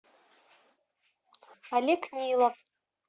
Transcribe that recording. олег нилов